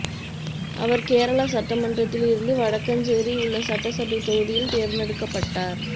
அவர் கேரளா சட்டமன்றத்தில் இருந்து வடக்கஞ்சேரி உள்ள சட்டசபை தொகுதியில் தேர்ந்தெடுக்கப்பட்டார்